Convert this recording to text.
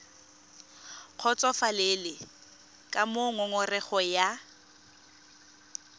kgotsofalele ka moo ngongorego ya